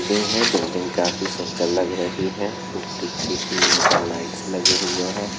Building है। Building काफी सुंदर लग रही है। बिल्डिंग की सीडियों पे लाइटस लगे हुए हैं।